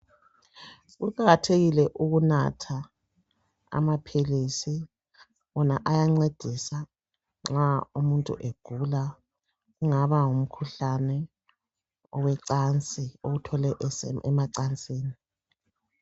Kuqakathekile ukunatha amaphilisi wona ayancedisa nxa umuntu egula kungaba ngumkhuhlane awuthole emacansini.